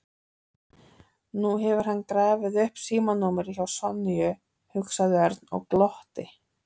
Nú hefur hann grafið upp símanúmerið hjá Sonju, hugsaði Örn og glotti.